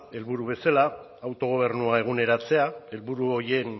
helburu bezala autogobernua eguneratzea helburu horien